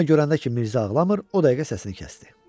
Amma görəndə ki, Mirzə ağlamır, o dəqiqə səsini kəsdi.